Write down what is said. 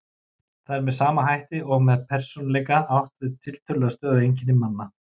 Þar er með sama hætti og með persónuleika átt við tiltölulega stöðug einkenni manna.